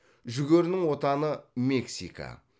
жүгерінің отаны мексика